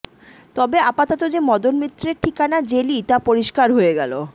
তবে আপাতত যে মদন মিত্রের ঠিকানা জেলই তা পরিষ্কার হয়ে গেল